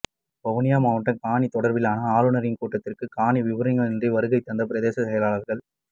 வவுனியா மாவட்ட காணி தொடர்பிலான ஆளுனரின் கூட்டத்திற்கு காணி விபரங்களின்றி வருகை தந்த பிரதேச செயலாளர்கள்